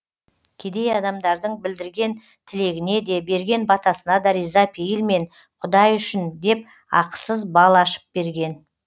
кедей адамдардың білдірген тілегіне де берген батасына да риза пейілмен құдай үшін деп ақысыз бал ашып берген